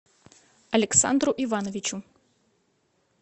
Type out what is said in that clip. александру ивановичу